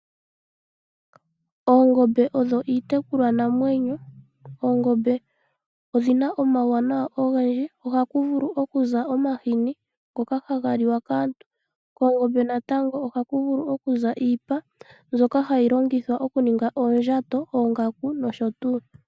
Oongombe odho iitekulwa namwenyo. Oongombe odhina omawuwanawa ogendji. Ohaku vulu oku za omahini ngoka haga liwa kaantu . Koongombe natango ohaku vulu oku za iipa mbyoka hayi longithwa oku ninga oondjato, oongaku nosho tuu.